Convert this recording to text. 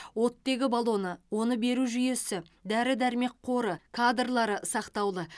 оттегі баллоны оны беру жүйесі дәрі дәрмек қоры кадрлары сақтаулы